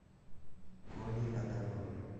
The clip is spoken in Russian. колей адамовым